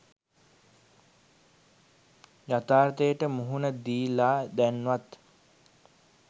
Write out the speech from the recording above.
යථාර්තයට මුහුණ දීල දැන් වත්